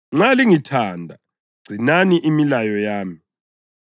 “Nxa lingithanda, gcinani imilayo yami.